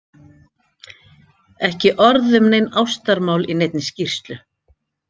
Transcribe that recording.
Ekki orð um nein ástarmál í neinni skýrslu.